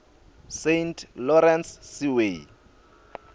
saint lawrence seaway